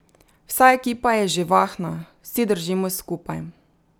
Vsa ekipa je živahna, vsi držimo skupaj.